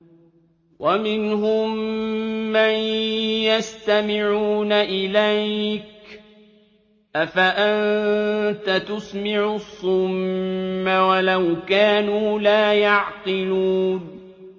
وَمِنْهُم مَّن يَسْتَمِعُونَ إِلَيْكَ ۚ أَفَأَنتَ تُسْمِعُ الصُّمَّ وَلَوْ كَانُوا لَا يَعْقِلُونَ